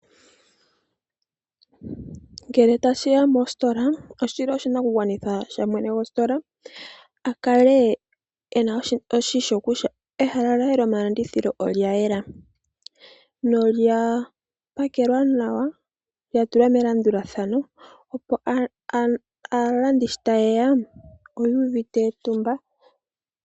Ngele ta shi ya mostola, mwene gwostola okuna oshinakugwanitha akale eshi kutya, ehala lye lyomalandithilo, olya yela nolya pakelwa nawa opo aalandithi shi tayeya ya kale yu uvite, etumba.